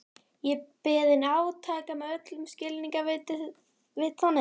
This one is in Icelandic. Ég beið átekta með öll skilningarvit þanin.